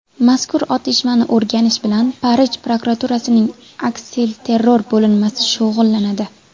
Mazkur otishmani o‘rganish bilan Parij prokuraturasining aksilterror bo‘linmasi shug‘ullanadi.